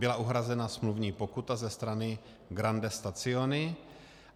Byla uhrazena smluvní pokuta ze strany Grandi Stazioni.